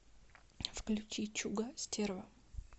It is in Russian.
включи чуга стерва